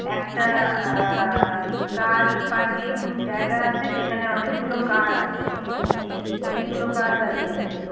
একটা আঃ car parking জায়গা আছে যেখানে অনেকগুলো কার আছে অনেকগুলো কার দাঁড়িয়ে আছে।